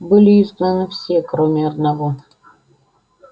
были изгнаны все кроме одного